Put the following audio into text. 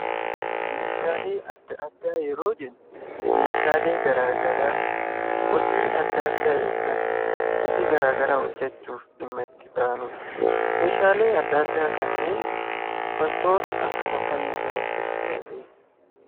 Meeshaalee adda addaa yeroo jennu; meeshaalee garaagaraa hojii adda addaa ykn hojii garagaraa hojeechuuf dhimma itti baanuudha. Meeshaalee adda addaa kanneen wantoota akkam akkami irraa hojeechuu dandeenyaa?